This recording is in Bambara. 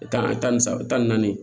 Kan tan ni saba tan ni naani